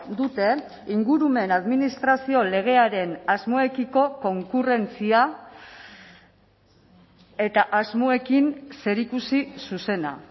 duten ingurumen administrazio legearen asmoekiko konkurrentzia eta asmoekin zerikusi zuzena